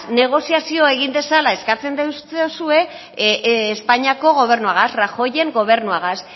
negoziazioa egin dezala eskatzen deutsozue espainiako gobernuagaz rajoyren gobernuagaz